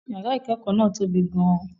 Yàrá ìkẹ́kọ̀ọ́ náà tobi gan-an